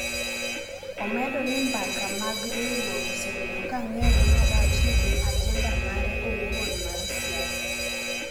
omedo ni mbaka mag riwruok osebedo ka ng’ere marach ni gin ajenda mare owuon mar siasa.